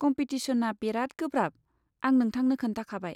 कम्पिटिसनआ बेराद गोब्राब, आं नोंथांनो खोन्थाखाबाय।